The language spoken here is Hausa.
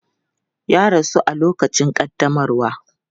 Ya rasu a lokacin ƙaddamarwa.